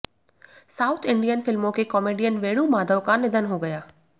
south Indian फिल्मों के comedian Venu Madhav का निधन हो गया